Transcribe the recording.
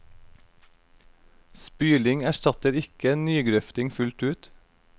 Spyling erstatter ikke nygrøfting fullt ut.